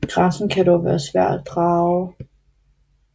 Grænsen kan dog være svær at drage